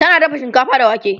tana dafa shinkafa da wake